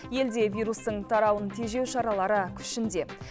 елде вирустың тарауын тежеу шаралары күшінде